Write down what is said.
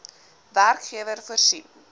werkgewer voorsien